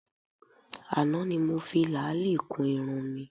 Àná ni mo fi làálì kun irun mi